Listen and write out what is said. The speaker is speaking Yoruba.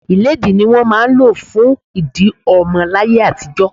Ilédi ni wọ́n máa ń lò fún ìdí ọmọ láyé àtijó.